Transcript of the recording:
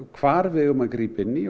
hvar við eigum að grípa inn í